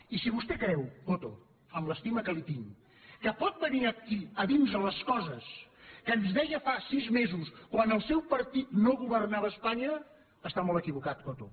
i si vostè creu coto amb l’estima que li tinc que pot venir aquí a dir nos les coses que ens deia fa sis mesos quan el seu partit no governava a espanya està molt equivocat coto